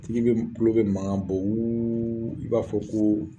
Tigi be tulo be mankan bɔ wuuuu i b'a fɔ ko